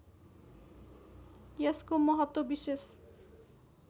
यसको महत्त्व विशेष